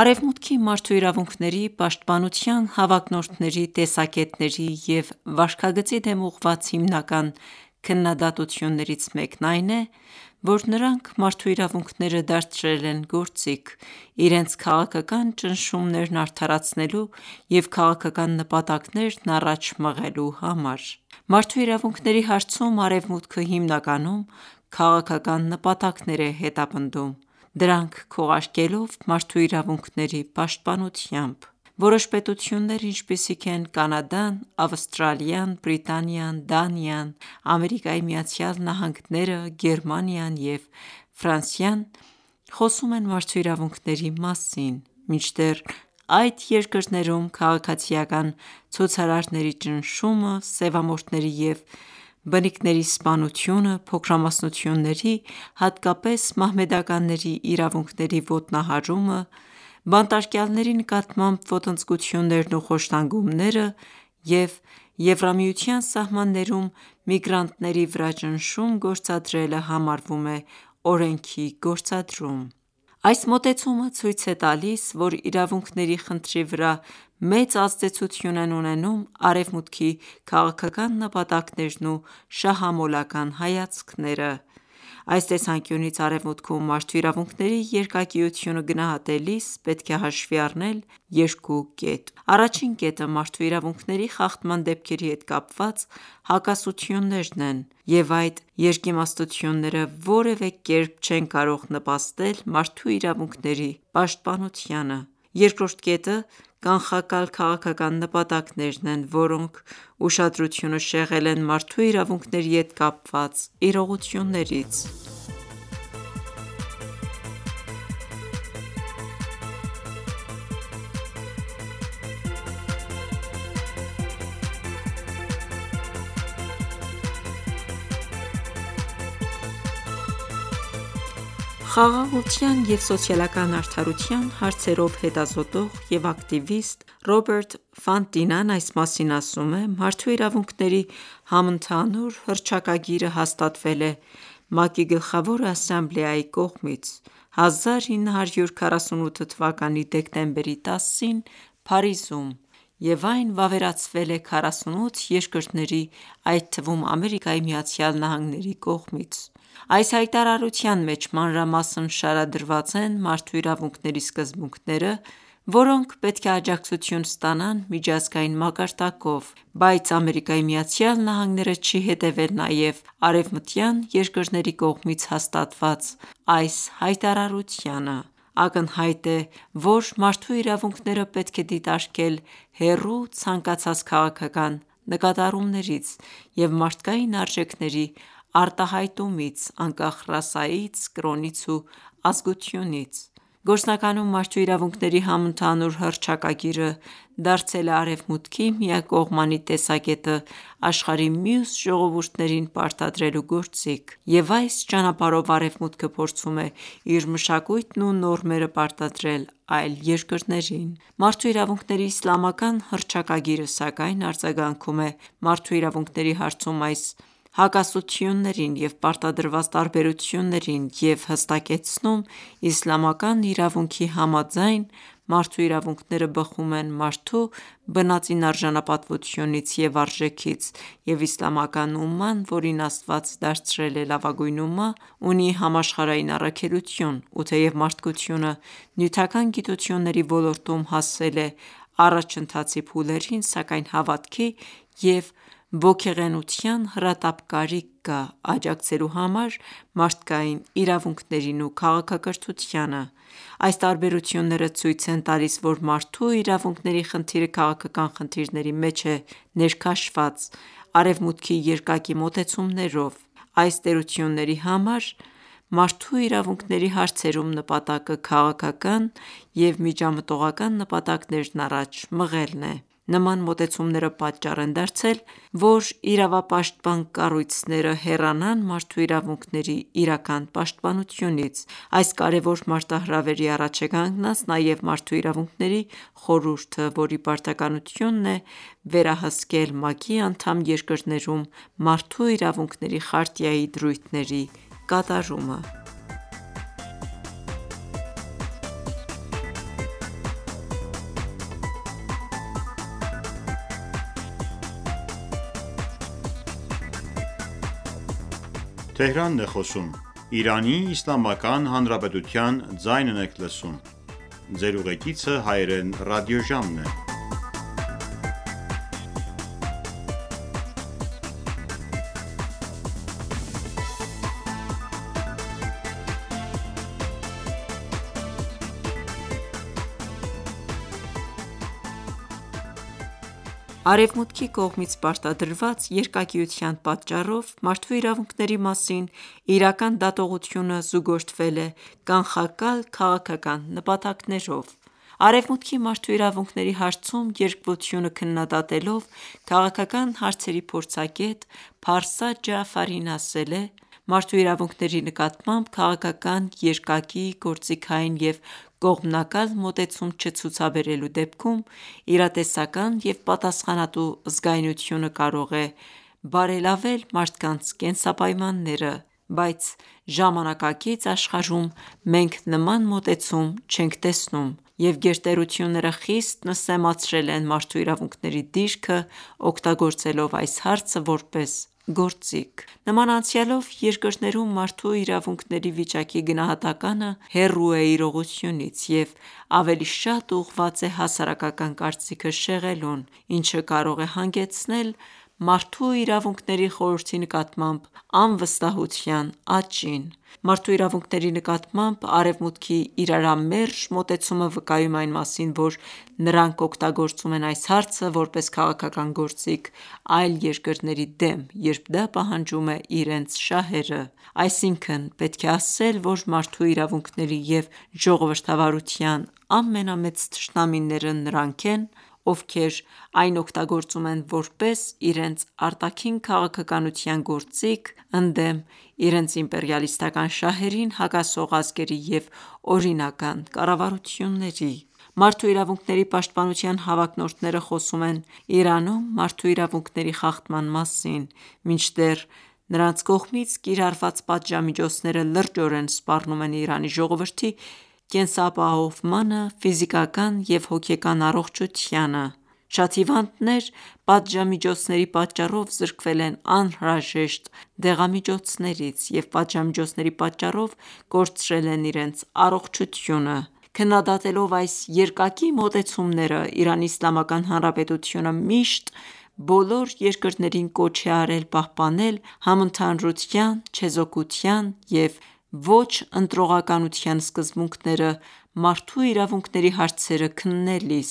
Արևմուտքի մարդու իրավունքների պաշտպանության հավակնորդների տեսակետների և վարքագծի դեմ ուղղված հիմնական քննադատություններից մեկն այն է, որ նրանք մարդու իրավունքները դարձրել են գործիք՝ իրենց քաղաքական ճնշումներն արդարացնելու և քաղաքական նպատակներն առաջ մղելու համար: Մարդու իրավունքների հարցում Արևմուտքը հիմնականում քաղաքական նպատակներ է հետապնդում, դրանք քողարկելով մարդու իրավունքների պաշտպանությամբ: Որոշ պետություններ, ինչպիսիք են Կանադան, Ավստրալիան, Բրիտանիան, Դանիան, ԱՄՆ-ը, Գերմանիան և Ֆրանսիան խոսում են մարդու իրավունքների մասին, մինչդեռ այդ երկրներում քաղաքացիական ցուցարարների ճնշումը, սևամորթների և բնիկների սպանությունը, փոքրամասնությունների, հատկապես մահմեդականների իրավունքների ոտնահարումը, բանտարկյալների նկատմամբ ոտնձգություններն ու խոշտանգումները և Եվրամիության սահմաններում միգրանտների վրա ճնշում գործադրելը համարվում է օրենքի գործադրում: Այս մոտեցումը ցույց է տալիս, որ իրավունքների խնդրի վրա մեծ ազդեցություն են ունենում Արևմուտքի քաղաքական նպատակներն ու շահամոլական հայացքները։ Այս տեսանկյունից Արևմուտքում մարդու իրավունքների երկակիությունը գնահատելիս պետք է հաշվի առնել երկու կետ. Առաջին կետը՝ մարդու իրավունքների խախտման դեպքերի հետ կապված հակասություններն են, և այդ երկիմաստությունները որևէ կերպ չեն կարող նպաստել մարդու իրավունքների պաշտպանությանը։ Երկրորդ կետը՝ կանխակալ քաղաքական նպատակներն են, որոնք ուշադրությունը շեղել են մարդու իրավունքների հետ կապված իրողություններից: Խաղաղության և սոցիալական արդարության հարցերով հետազոտող և ակտիվիստ՝ Ռոբերտ Ֆանտինան այս մասին ասում է.«Մարդու իրավունքների համընդհանուր հռչակագիրը հաստատվել է ՄԱԿ-ի Գլխավոր ասամբլեայի կողմից 1948 թվականի դեկտեմբերի 10-ին Փարիզում, և այն վավերացվել է 48 երկրների, այդ թվում՝ ԱՄՆ-ի կողմից։ Այս հայտարարության մեջ մանրամասն շարադրված են մարդու իրավունքների սկզբունքները, որոնք պետք է աջակցություն ստանան միջազգային մակարդակով. Բայց ԱՄՆ-ը չի հետևել նաև արևմտյան երկրների կողմից հաստատված այս հայտարարությանը»։ Ակնհայտ է, որ մարդու իրավունքները պետք է դիտարկել հեռու ցանկացած քաղաքական նկատառումներից և մարդկային արժեքների արտահայտումից՝ անկախ ռասայից, կրոնից ու ազգությունից: Գործնականում Մարդու իրավունքների համընդհանուր հռչակագիրը դարձել է Արևմուտքի միակողմանի տեսակետը աշխարհի մյուս ժողովուրդներին պարտադրելու գործիք, և այս ճանապարհով Արևմուտքը փորձում է իր մշակույթն ու նորմերը պարտադրել այլ երկրներին: Մարդու իրավունքների իսլամական հռչակագիրը, սակայն, արձագանքում է մարդու իրավունքների հարցում այս հակասություններին և պարտադրված տարբերություններին և հստակեցնում՝ Իսլամական իրավունքի համաձայն, մարդու իրավունքները բխում են մարդու բնածին արժանապատվությունից և արժեքից, և Իսլամական Ումման, որին Աստված դարձրել է լավագույն Ումմա, ունի համաշխարհային առաքելություն, ու թեև մարդկությունը նյութական գիտությունների ոլորտում հասել է առաջընթացի փուլերին, սակայն հավատքի և ոգեղենության հրատապ կարիք կա՝ աջակցելու համար մարդկային իրավունքներին ու քաղաքակրթությանը: Այս տարբերությունները ցույց են տալիս, որ մարդու իրավունքների խնդիրը քաղաքական խնդիրների մեջ է ներքաշված՝ Արեւմուտքի երկակի մոտեցումներով։ Այս տերությունների համար մարդու իրավունքների հարցերում նպատակը քաղաքական և միջամտողական նպատակներն առաջ մղելն է։ Նման մոտեցումները պատճառ են դարձել, որ իրավապաշտպան կառույցները հեռանան մարդու իրավունքների իրական պաշտպանությունից: Այս կարևոր մարտահրավերի առաջ է կանգնած նաև Մարդու իրավունքների խորհուրդը, որի պարտականությունն է վերահսկել ՄԱԿ-ի անդամ երկրներում Մարդու իրավունքների խարտիայի դրույթների կատարումը։ Արևմուտքի կողմից պարտադրված երկակիության պատճառով մարդու իրավունքների մասին իրական դատողությունը զուգորդվել է կանխակալ քաղաքական նպատակներով: Արևմուտքի Մարդու իրավունքների հարցում երկվությունը քննադատելով, քաղաքական հարցերի փորձագետ՝ Փարսա Ջաաֆարին ասել է.«Մարդու իրավունքների նկատմամբ քաղաքական, երկակի, գործիքային և կողմնակալ մոտեցում չցուցաբերելու դեպքում, իրատեսական և պատասխանատու զգայունությունը կարող է բարելավել մարդկանց կենսապայմանները։ Բայց ժամանակակից աշխարհում մենք նման մոտեցում չենք տեսնում, և գերտերությունները խիստ նսեմացրել են մարդու իրավունքների դիրքը՝ օգտագործելով այս հարցը որպես գործիք։ Նման անցյալով, երկրներում մարդու իրավունքների վիճակի գնահատականը հեռու է իրողությունից և ավելի շատ ուղղված է հասարակական կարծիքը շեղելուն, ինչը կարող է հանգեցնել Մարդու իրավունքների խորհրդի նկատմամբ անվստահության աճին։ Մարդու իրավունքների նկատմամբ Արևմուտքի իրարամերժ մոտեցումը վկայում է այն մասին, որ նրանք օգտագործում են այս հարցը որպես քաղաքական գործիք այլ երկրների դեմ, երբ դա պահանջում է իրենց շահերը։ Այսինքն՝ պետք է ասել, որ մարդու իրավունքների և ժողովրդավարության ամենամեծ թշնամիները նրանք են, ովքեր այն օգտագործում են որպես իրենց արտաքին քաղաքականության գործիք՝ ընդդեմ իրենց իմպերիալիստական շահերին հակասող ազգերի և օրինական կառավարությունների։ Մարդու իրավունքների պաշտպանության հավակնորդները խոսում են Իրանում մարդու իրավունքների խախտման մասին, մինչդեռ նրանց կողմից կիրառված պատժամիջոցները լրջորեն սպառնում են Իրանի ժողովրդի կենսապահովմանը, ֆիզիկական և հոգեկան առողջությանը։ Շատ հիվանդներ պատժամիջոցների պատճառով զրկվել են անհրաժեշտ դեղամիջոցներից, և պատժամիջոցների պատճառով կորցրել են իրենց առողջությունը: Քննադատելով այս երկակի մոտեցումները, Իրանի Իսլամական Հանրապետությունը միշտ բոլոր երկրներին կոչ է արել պահպանել համընդհանրության, չեզոքության և ոչ ընտրողականության սկզբունքները մարդու իրավունքների հարցերը քննելիս,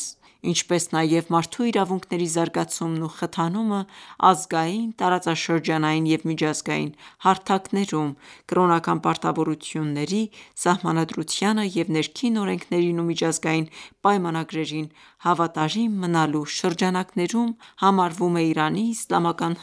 ինչպես նաև մարդու իրավունքների զարգացումն ու խթանումը ազգային, տարածաշրջանային և միջազգային հարթակներում, կրոնական պարտավորությունների, Սահմանադրությանը և ներքին օրենքներին ու միջազգային պայմանագրերին հավատարիմ մնալու շրջանակներում համարվում է Իրանի Իսլամական